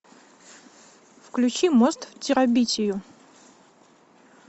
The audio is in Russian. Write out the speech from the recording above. включи мост в терабитию